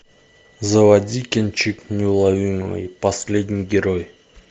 заводи кинчик неуловимый последний герой